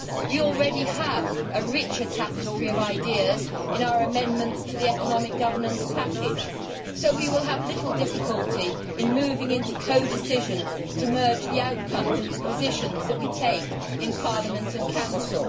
We already have a richer tapestry of ideas in our amendments to the economic governance package, so we will have little difficulty in moving into codecision to merge the outcomes of the positions that we take in Parliament and Council.